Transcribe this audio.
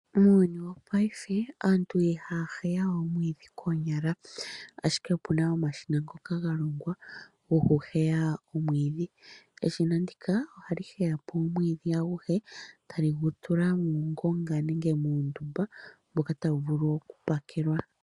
Muuyuni wopaife aantu ihaya heya we omwiidhi koonyala, ashike opuna omashina ngoka galongwa, gokuheyapo omwiidhi. Eshina ndika ohali heyapo omwiidhi aguhe, tali gutula muungonga nenge muundumba mboka tawu vulu okupakelwa.